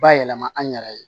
Bayɛlɛma an yɛrɛ ye